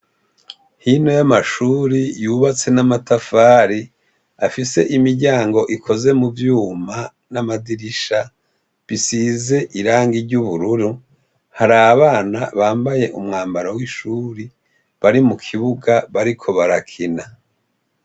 Hino y'amashure tubatswe n'amatafari afise imiryamgo ikoze mu vyuma n'amadirisha bisize irangi ry'ubururu hari abana bambaye umwambaro w'ishure bari mu kibuga bariko barakina.